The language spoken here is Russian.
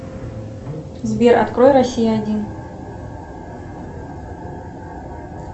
сбер открой россия один